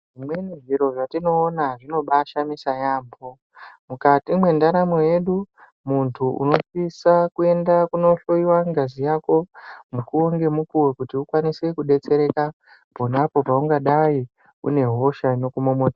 Zvimweni zviro zvatinoona zvinobaashamisa yaamho. Mukati mwendaramo yedu muntu unosisa kuenda kunohloiwa ngazi yako mukuwo ngemukuwo. Kuti ukwanise kudetsereka ponapo paungadai une hosha inokumomo.